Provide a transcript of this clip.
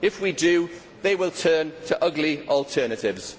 If we do, they will turn to ugly alternatives.